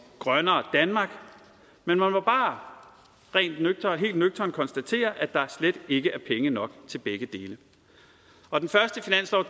grønnere danmark men man må bare helt nøgternt konstatere at der slet ikke er penge nok til begge dele og den første finanslov